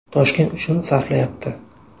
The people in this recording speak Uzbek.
Toshkent uchun sarflayapti.